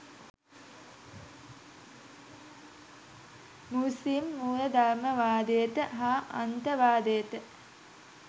මුස්ලිම් මූලධර්මවාදයට හා අන්තවාදයට